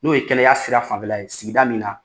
N'o ye kɛlɛya sira fanfɛla ye sigida min na